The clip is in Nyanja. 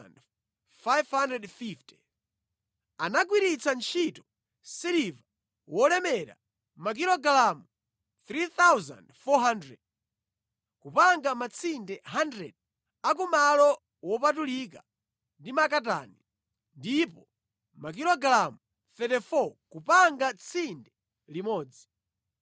Anagwiritsa ntchito siliva wolemera makilogalamu 3,400 kupanga matsinde 100 a ku malo wopatulika ndi makatani, ndipo makilogalamu 34 kupanga tsinde limodzi.